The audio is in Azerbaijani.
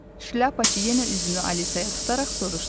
Şlyapaçı yenə üzünü Alisaya tutaraq soruşdu.